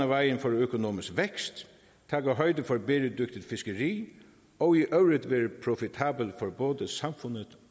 vejen for økonomisk vækst tage højde for et bæredygtigt fiskeri og i øvrigt være profitabel for både samfundet